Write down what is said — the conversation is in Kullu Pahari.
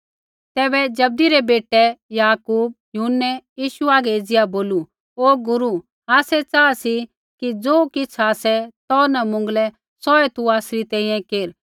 तैबै जब्दी रै बेटै याकूब होर यूहन्नै यीशु हागै एज़िया बोलू ओ गुरू आसै चाहा सी कि ज़ो किछ़ आसै तो न मुँगलै सौऐ तू आसरी तैंईंयैं केर